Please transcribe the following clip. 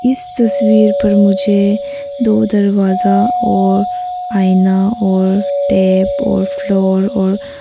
इस तस्वीर पर मुझे दो दरवाजा और आईना और टेप और फ्लोर और--